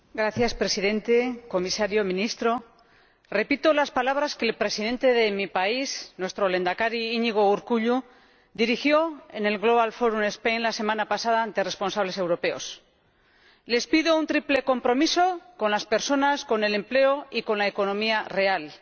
Señor Presidente, señor Comisario, señor Ministro, repito las palabras que el presidente de mi país, nuestro Lehendakari Iñigo Urkullu, dirigió en el Global Forum Spain la semana pasada a responsables europeos les pido un triple compromiso con las personas, con el empleo y con la economía real.